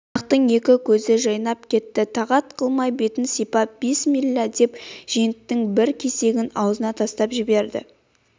қонақтың екі көзі жайнап кетті тағат қылмай бетін сипап бисмиллә деп женттің бір кесегін аузына тастап жіберді